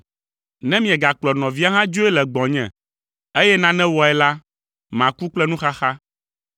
Ne miegakplɔ nɔvia hã dzoe le gbɔnye, eye nane wɔe la, maku kple nuxaxa.’